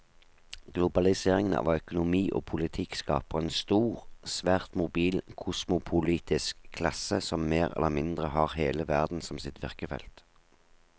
Globaliseringen av økonomi og politikk skaper en stor, svært mobil kosmopolitisk klasse som mer eller mindre har hele verden som sitt virkefelt.